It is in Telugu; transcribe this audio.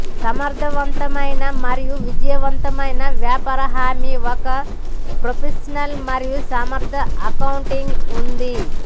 సమర్థవంతమైన మరియు విజయవంతమైన వ్యాపార హామీ ఒక ప్రొఫెషనల్ మరియు సమర్థ అకౌంటింగ్ ఉంది